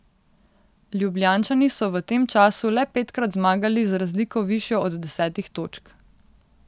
Ljubljančani so v tem času le petkrat zmagali z razliko višjo od desetih točk.